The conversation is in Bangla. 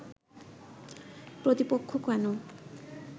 প্রতিপক্ষ কেন